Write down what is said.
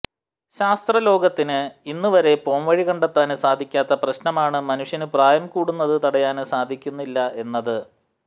ശാസ്ത്രലോകത്തിന് ഇന്നുവരെ പോംവഴി കണ്ടെത്താന് സാധിക്കാത്ത പ്രശ്നമാണ് മനുഷ്യന് പ്രായം കൂടുന്നത് തടയാന് സാധിക്കുന്നില്ല എന്നത്